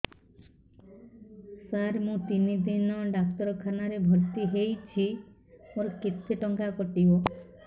ସାର ମୁ ତିନି ଦିନ ଡାକ୍ତରଖାନା ରେ ଭର୍ତି ହେଇଛି ମୋର କେତେ ଟଙ୍କା କଟିବ